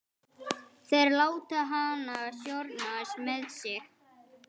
Þeir láta hana stjórnast með sig.